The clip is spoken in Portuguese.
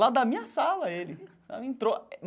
Lá da minha sala, ele sabe entrou.